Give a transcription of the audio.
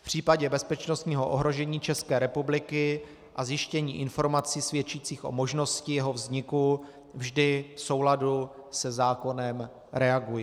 V případě bezpečnostního ohrožení České republiky a zjištění informací svědčících o možnosti jeho vzniku vždy v souladu se zákonem reaguji.